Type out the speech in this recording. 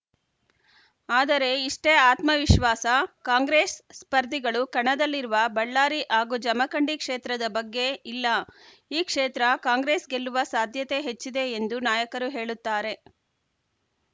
ಆದರೆ ಇಷ್ಟೇ ಆತ್ಮವಿಶ್ವಾಸ ಕಾಂಗ್ರೆಸ್‌ ಸ್ಪರ್ಧಿಗಳು ಕಣದಲ್ಲಿರುವ ಬಳ್ಳಾರಿ ಹಾಗೂ ಜಮಖಂಡಿ ಕ್ಷೇತ್ರದ ಬಗ್ಗೆ ಇಲ್ಲ ಈ ಕ್ಷೇತ್ರ ಕಾಂಗ್ರೆಸ್‌ ಗೆಲ್ಲುವ ಸಾಧ್ಯತೆ ಹೆಚ್ಚಿದೆ ಎಂದು ನಾಯಕರು ಹೇಳುತ್ತಾರೆ